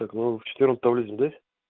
так вы в четвёртом подьезде да